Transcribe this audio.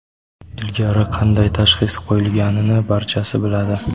ilgari qanday tashxis qo‘yilgani – barchasi bo‘ladi.